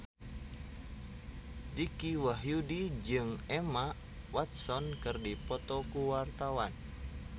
Dicky Wahyudi jeung Emma Watson keur dipoto ku wartawan